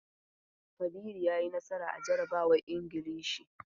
Kabiru ya yi nasara a jarabawan Ingilishi.